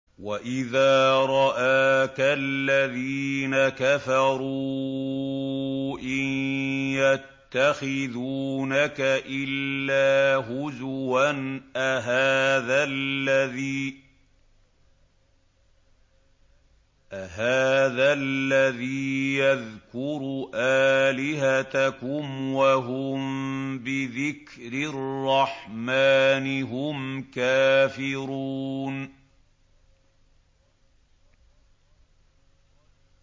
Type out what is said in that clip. وَإِذَا رَآكَ الَّذِينَ كَفَرُوا إِن يَتَّخِذُونَكَ إِلَّا هُزُوًا أَهَٰذَا الَّذِي يَذْكُرُ آلِهَتَكُمْ وَهُم بِذِكْرِ الرَّحْمَٰنِ هُمْ كَافِرُونَ